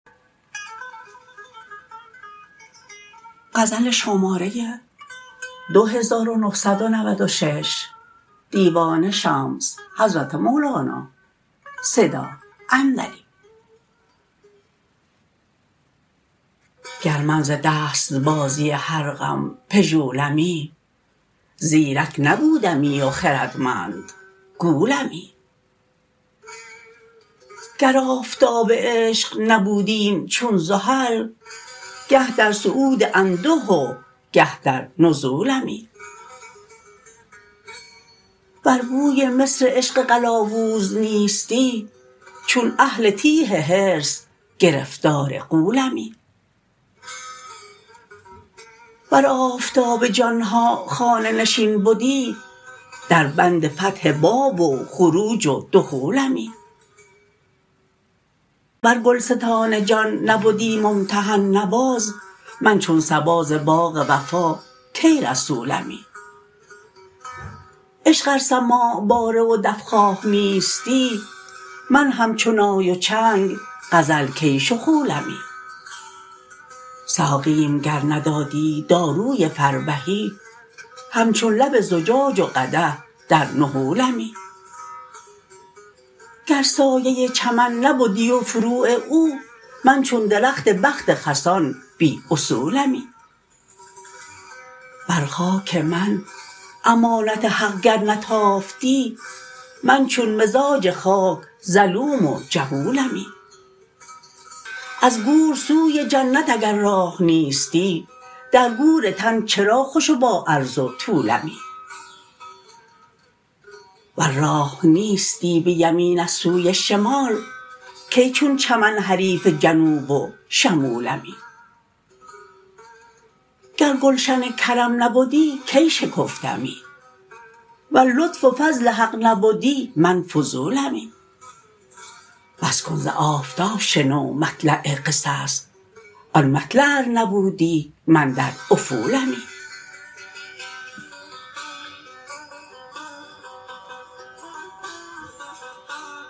گر من ز دست بازی هر غم پژولمی زیرک نبودمی و خردمند گولمی گر آفتاب عشق نبودیم چون زحل گه در صعود انده و گه در نزولمی ور بوی مصر عشق قلاوز نیستی چون اهل تیه حرص گرفتار غولمی ور آفتاب جان ها خانه نشین بدی دربند فتح باب و خروج و دخولمی ور گلستان جان نبدی ممتحن نواز من چون صبا ز باغ وفا کی رسولمی عشق ار سماع باره و دف خواه نیستی من همچو نای و چنگ غزل کی شخولمی ساقیم گر ندادی داروی فربهی همچون لب زجاج و قدح در نحولمی گر سایه چمن نبدی و فروغ او من چون درخت بخت خسان بی اصولمی بر خاک من امانت حق گر نتافتی من چون مزاج خاک ظلوم و جهولمی از گور سوی جنت اگر راه نیستی در گور تن چرا خوش و باعرض و طولمی ور راه نیستی به یمین از سوی شمال کی چون چمن حریف جنوب و شمولمی گر گلشن کرم نبدی کی شکفتمی ور لطف و فضل حق نبدی من فضولمی بس کن ز آفتاب شنو مطلع قصص آن مطلع ار نبودی من در افولمی